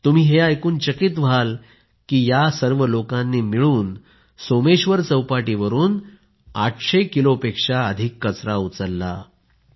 तुम्ही ऐकून हैराण व्हाल या लोकांनी मिळून सोमेश्वर चौपाटीवरून 800 किलोपेक्षा अधिक कचरा उचलला